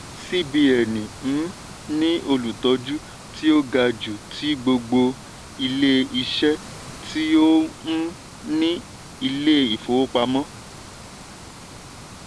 cbn um ní olùtọ́jú tí ó ga jù ti gbogbo ilé-iṣẹ́ tí ó um ní ilé-ìfowọ́pamọ́.